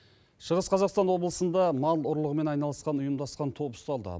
шығыс қазақстан облысында мал ұрлығымен айналысқан ұйымдасқан топ ұсталды